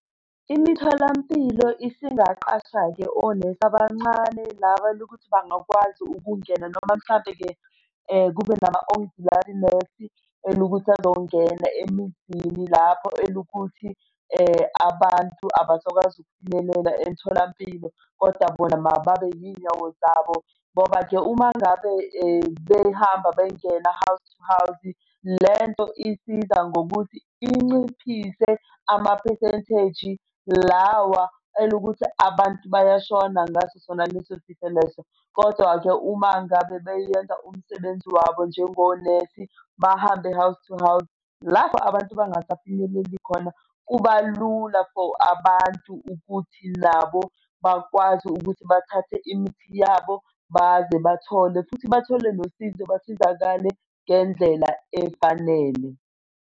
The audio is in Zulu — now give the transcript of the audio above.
Imitholampilo isingaqasha-ke onesi abancane laba lokuthi bangakwazi ukungena noma mhlampe-ke kube nama-O_D_R nesi elukuthi azongena emizini lapho elukuthi abantu abangakwazi ukufinyelela emtholampilo, kodwa bona mababe yiy'nyawo zabo ngoba-ke uma ngabe behambe bengena house to house, lento isiza ngokuthi inciphise ama-percentage lawa elukuthi abantu bayashona ngaso sona lesi sifo leso. Kodwa-ke uma ngabe beyenza umsebenzi wabo njengonesi bahambe house to house lapho abantu bangafinyelela khona, kuba lula for abantu ukuthi nabo bakwazi ukuthi bathathe imithi yabo baze bathole futhi bathole nosizo basizakale ngendlela efanele.